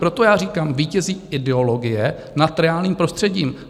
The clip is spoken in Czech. Proto já říkám, vítězí ideologie nad reálným prostředím.